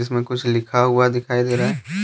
में कुछ लिखा हुआ दिखाई दे रहा है।